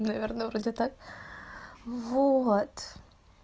наверное вроде так вот